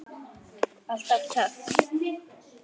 Alltaf töff.